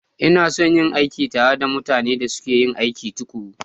Ina son yin aiki tare da mutanen da suke aiki tuƙuru.